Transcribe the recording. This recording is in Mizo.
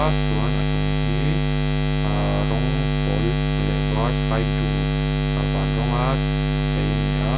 a chuan a chung khi ahh rawng pawl leh var sskai blu ahh van rawnga chei a ni a.